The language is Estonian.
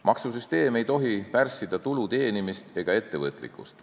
Maksusüsteem ei tohi pärssida tulu teenimist ega ettevõtlikkust.